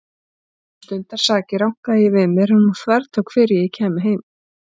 Um stundarsakir rankaði ég við mér en hún þvertók fyrir að ég kæmi heim.